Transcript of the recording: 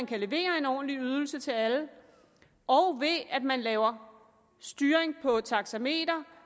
kan levere en ordentlig ydelse til alle og ved at man laver styring på taxameter